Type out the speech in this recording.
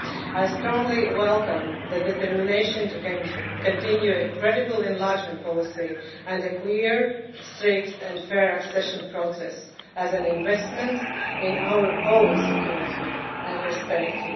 I strongly welcome the determination to continue a credible enlargement policy and a clear, strict and fair accession process as an investment in our own security and prosperity.